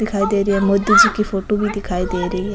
दिखाई दे रही है मोदी जी की फोटो भी दिखाई दे री है।